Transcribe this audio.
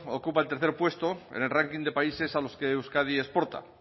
ocupa el tercer puesto en el ranking de países a los que euskadi exporta